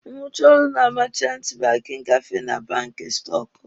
M rụchaa ọrụ na meechanti banki, m gafee na banki stọkụ.